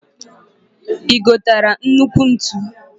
I gotara nnukwu ntu?